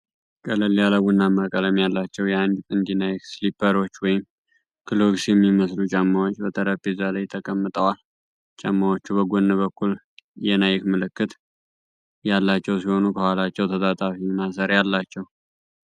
ቀለል ያለ ቡናማ ቀለም ያላቸው የአንድ ጥንድ ናይክ ስሊፐሮች ወይም ክሎግስ የሚመስሉ ጫማዎች በጠረጴዛ ላይ ተቀምጠዋል። ጫማዎቹ በጎን በኩል የናይክ ምልክት ያላቸው ሲሆኑ፣ ከኋላቸው ተጣጣፊ ማሰሪያ አላቸው።